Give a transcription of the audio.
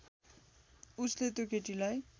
उसले त्यो केटीलाई